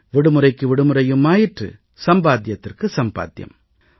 விடுமுறைக்கு விடுமுறையும் ஆயிற்று சம்பாத்தியத்திற்கு சம்பாத்தியம்